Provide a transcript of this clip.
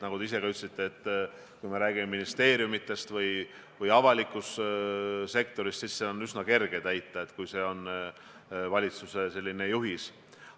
Nagu te ise ka ütlesite: kui me räägime ministeeriumidest või üldse avalikust sektorist, siis on nõudeid üsna kerge täita, kui tegu on valitsuse juhistega.